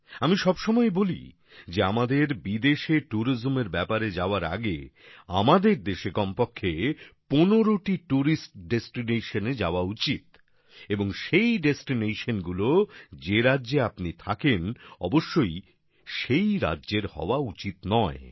আমি সবসময়ই বলি যে আমাদের বিদেশে ট্যুরিজমের ব্যাপারে যাওয়ার আগে আমাদের দেশে কমপক্ষে ১৫টি টুরিস্ট ডেস্টিনেশনে যাওয়া উচিত এবং সেই ডেস্টিনেশন গুলো যে রাজ্যে আপনি থাকেন অবশ্যই সেই রাজ্যের হওয়া উচিত নয়